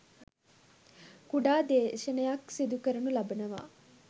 කුඩා දේශනයක් සිදු කරනු ලබනවා